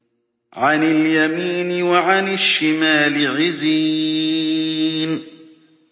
عَنِ الْيَمِينِ وَعَنِ الشِّمَالِ عِزِينَ